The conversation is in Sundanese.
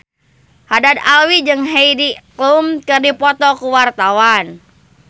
Haddad Alwi jeung Heidi Klum keur dipoto ku wartawan